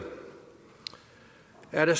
er det